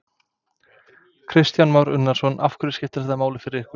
Kristján Már Unnarsson: Af hverju skiptir þetta máli fyrir ykkur?